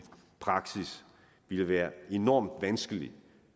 praksis ville være enormt vanskeligt